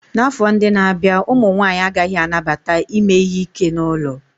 N'afọ ndị na-abịa, ụmụ nwanyị agaghị anabata ime ihe ike n'ụlọ